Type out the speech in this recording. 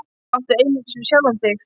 Það áttu einungis við sjálfan þig.